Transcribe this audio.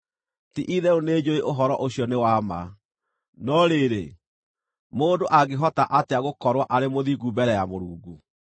“Ti-itherũ nĩnjũũĩ ũhoro ũcio nĩ wa ma. No rĩrĩ, mũndũ angĩhota atĩa gũkorwo arĩ mũthingu mbere ya Mũrungu?